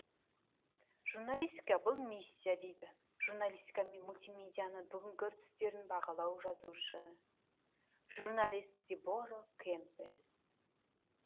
журналистика бұл миссия дейді журналистика мен мултимедианың бүгінгі үрдістерін бағалаған жазушы журналист дебора кемпбелл